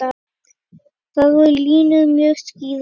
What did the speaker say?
Þar voru línur mjög skýrar.